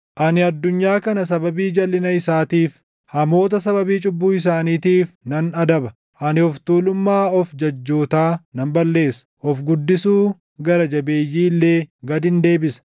Ani addunyaa kana sababii jalʼina isaatiif, hamoota sababii cubbuu isaaniitiif nan adaba. Ani of tuulummaa of jajjootaa nan balleessa; of guddisuu gara jabeeyyii illee gadin deebisa.